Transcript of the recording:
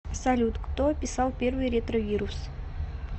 салют кто описал первый ретровирус